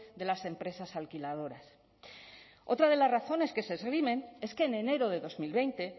de las empresas alquiladoras otra de las razones que se esgrimen es que en enero de dos mil veinte